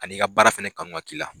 Ani' ka baara fɛnɛ kanu ka k'i la.